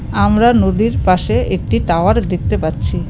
আমরা নদীর পাশে একটি টাওয়ার দেখতে পাচ্ছি .